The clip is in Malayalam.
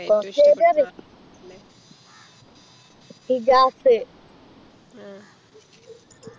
കൊർച് പേരെ പറയു ഇജാസ്